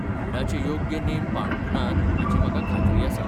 कोविडाचे योग्य नेम पाळूंक नात हाची म्हाका खात्री आसा.